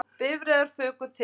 Bifreiðar fuku til